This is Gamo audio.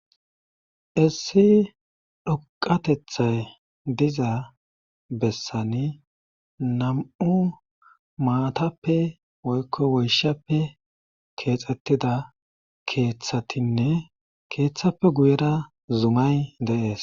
issi dhoqatethay diza bessani nam7u maatappe woykko woyshappe keexxettida keeththatinne keeththappe guyera zumay deees